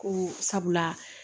Ko sabula